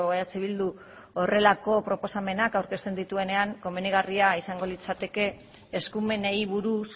eh bildu horrelako proposamenak aurkezten dituenean komenigarria izango litzateke eskumenei buruz